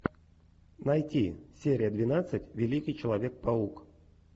найти серия двенадцать великий человек паук